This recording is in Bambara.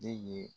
Den ye